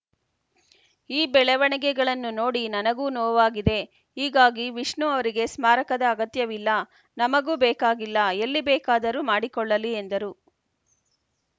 ಈ ಬೆಳವಣಿಗೆಗಳನ್ನು ನೋಡಿ ನನಗೂ ನೋವಾಗಿದೆ ಹೀಗಾಗಿ ವಿಷ್ಣು ಅವರಿಗೆ ಸ್ಮಾರಕದ ಅಗತ್ಯವಿಲ್ಲ ನಮಗೂ ಬೇಕಾಗಿಲ್ಲ ಎಲ್ಲಿ ಬೇಕಾದರೂ ಮಾಡಿಕೊಳ್ಳಲಿ ಎಂದರು